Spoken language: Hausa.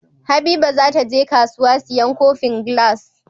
Habiba zata je kasuwa siyan kofin glass